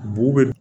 Bugu be